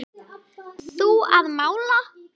Þú að mála.